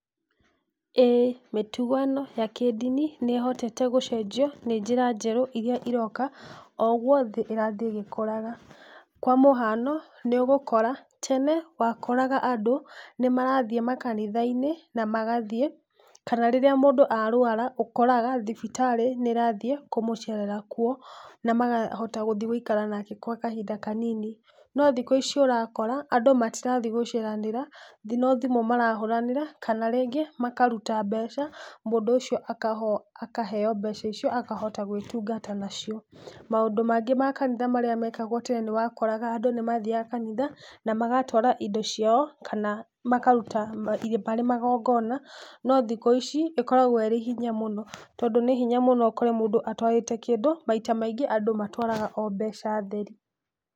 Ĩĩ mĩtugo ĩno ya kĩdini nĩ hotete gũcenjio nĩ njĩra njerũ iria iroka ũguo ĩrathiĩ ĩgĩkũraga, kwa mũhiano nĩ ũgũkora, tene wakoraga andũ nĩ marathiĩ makanitha-inĩ na magathiĩ kana rĩrĩa mũndũ arwara ũkoraga thibitarĩ nĩ rathiĩ kũmũcerera kuo, na makahota gũthiĩ gũikara nake gwa kahinda kanini, no thikũ ici ũrakora andũ matirathiĩ gũceranĩta no thimũ marahũnĩra kana rĩngĩ makaruta mbeca mũndũ ũcio akaheo mbeca icio na akahota gwĩtungata nacio. Maũndũ mangĩ ma kanitha marĩa mekagwo tene nĩ wakoraga andũ nĩ mathiaga kanitha na magĩtwara indo ciao kana makaruta irĩ magongona no thikũ ici ĩkoragwo ĩrĩ hinya mũno, tondũ nĩ hinya mũno ũkore mũndũ atwarĩte kĩndũ maita maingĩ andũ matwaraga o mbeca theri.